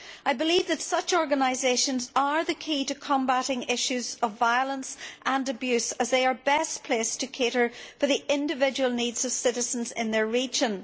I believe that such organisations are the key to combating issues of violence and abuse, as they are best placed to cater for the individual needs of citizens in their region.